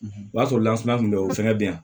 O b'a sɔrɔ lansuma kun bɛ yen o fɛnɛ bɛ yan